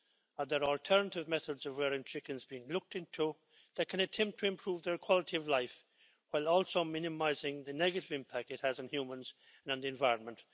Are there alternative methods of rearing chickens being looked into that can attempt to improve their quality of life, while also minimising the negative impact it has on humans and on the environment?